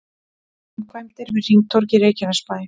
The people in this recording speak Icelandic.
Framkvæmdir við hringtorg í Reykjanesbæ